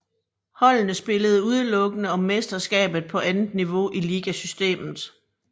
Holdene spillede udelukkende om mesterskabet på andet niveau i ligasystemet